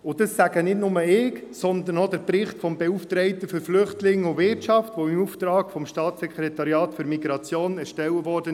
Dies sage nicht nur ich, sondern auch der Bericht des Beauftragten für Flüchtlinge und Wirtschaft, der im Auftrag des Staatssekretariats für Migration (SEM) im Juni 2018 erstellt wurde.